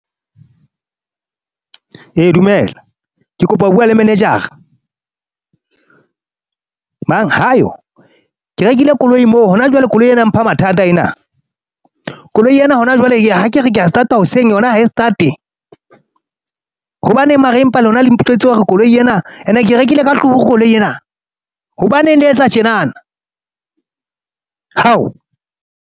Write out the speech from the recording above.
E dumela, ke kopa ho bua le manager-a, mang ha yo? Ke rekile koloi moo hona jwale koloi ena mpha mathata ena. Koloi ena hona jwale ha kere ke a start-a hoseng yona ha e start-e, hobaneng mara empa lona le hore koloi ena ene, ke rekile ka turu koloi ena. Hobaneng le etsa tjenana? Hao.